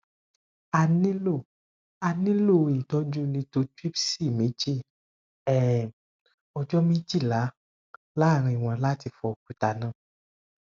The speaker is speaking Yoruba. a nilo a nilo itọju lithotripsy meji um ọjọ mejila laaarin wọn lati fọ okuta naa